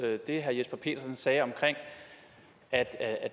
det herre jesper petersen sagde om at at